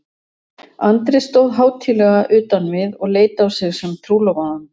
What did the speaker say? Andri stóð hátíðlega utan við og leit á sig sem trúlofaðan.